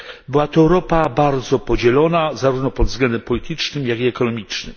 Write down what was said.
Była to Europa bardzo podzielona, zarówno pod względem politycznym, jak i ekonomicznym.